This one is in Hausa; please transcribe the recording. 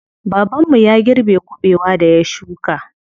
Baban mu ya girbe kuɓewar da ya shuka.